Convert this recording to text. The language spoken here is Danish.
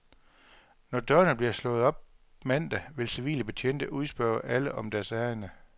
Når dørene bliver slået op mandag, vil civile betjente udspørge alle om deres ærinde.